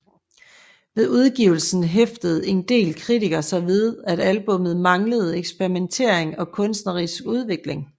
Ved udgivelsen hæftede en del kritikere sig ved at albummet manglede eksperimentering og kunstnerisk udvikling